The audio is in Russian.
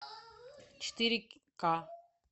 четыре ка